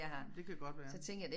Men det kan godt være